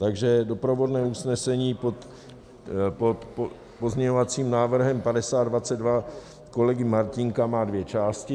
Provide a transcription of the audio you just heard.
Takže doprovodné usnesení pod pozměňovacím návrhem 5022 kolegy Martínka má dvě části.